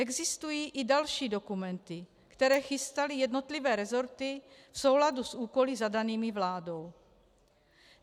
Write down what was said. Existují i další dokumenty, které chystaly jednotlivé rezorty v souladu s úkoly zadanými vládou.